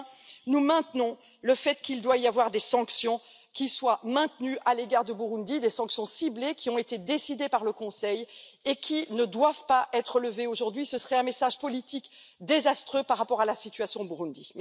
Enfin, réaffirmons avec force qu'il doit y avoir des sanctions qui soient maintenues à l'égard du Burundi, des sanctions ciblées qui ont été décidées par le Conseil et qui ne doivent pas être levées aujourd'hui ce serait un message politique désastreux par rapport à la situation au Burundi.